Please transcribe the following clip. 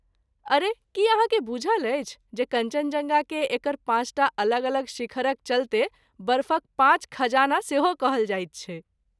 अरे, की अहाँकेँ बूझल अछि जे कञ्चनजङ्गाकेँ एकर पाँचटा अलग अलग शिखरक चलते "बर्फक पाँच खजाना" सेहो कहल जाइत छै?